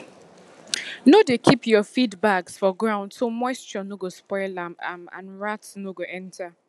no dey keep your feed bags for ground so moisture no go spoil am am and rats no go enter